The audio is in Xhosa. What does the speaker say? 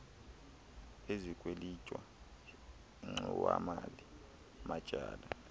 ezikwelitwa ingxowamali matyala